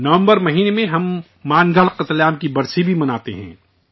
نومبر مہینہ میں ہم مان گڑھ قتل عام کی برسی بھی مناتے ہیں